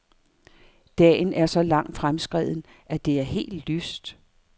Dagen er så langt fremskreden, at det er helt lyst.